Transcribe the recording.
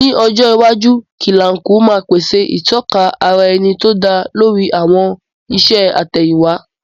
Ní ọjọ́ iwájú, Kilanko máa pèsè ìtọ́ka ara ẹni tó dá lórí àwọn iṣẹ́ àtẹ̀yìnwá.